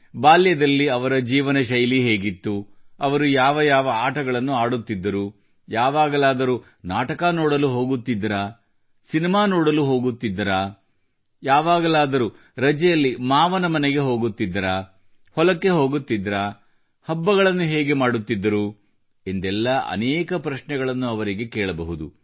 ಬಾಲ್ಯದಲ್ಲಿ ಅವರ ಜೀವನಶೈಲಿ ಹೇಗಿತ್ತು ಅವರು ಯಾವ ಯಾವ ಆಟಗಳನ್ನು ಆಡುತ್ತಿದ್ದರು ಯಾವಾಗಲಾದರೂ ನಾಟಕ ನೋಡಲು ಹೋಗುತ್ತಿದ್ದರಾ ಸಿನಿಮಾ ನೋಡಲು ಹೋಗುತ್ತಿದ್ದರಾ ಯಾವಾಗಲಾದರೂ ರಜೆಯಲ್ಲಿ ಮಾವನ ಮನೆಗೆ ಹೋಗುತ್ತಿದ್ದರಾ ಹೊಲಕ್ಕೆ ಹೋಗುತ್ತಿದ್ದರಾ ಹಬ್ಬಗಳನ್ನು ಹೇಗೆ ಮಾಡುತ್ತಿದ್ದರು ಎಂದೆಲ್ಲ ಅನೇಕ ಪ್ರಶ್ನೆಗಳನ್ನು ಅವರಿಗೆ ಕೇಳಬಹುದು